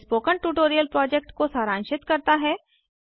यह spoken tutorial project को सारांशित करता है